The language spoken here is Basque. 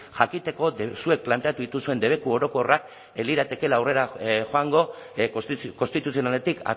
jakiteko zuek planteatu dituzuen debeku orokorrak ez liratekeela aurrera joango konstituzionaletik